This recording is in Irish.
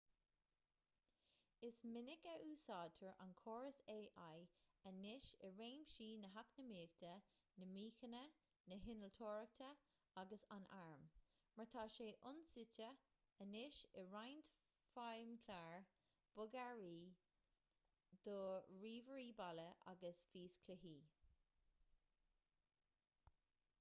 is minic a úsáidtear an córas ai anois i réimsí na heacnamaíochta na míochaine na hinnealtóireachta agus an airm mar tá sé ionsuite anois i roinnt feidhmchlár bogearraí do ríomhairí baile agus físchluichí